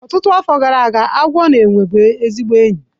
Ọtụtụ afọ gara aga, agwọ na enwe bụ ezigbo enyi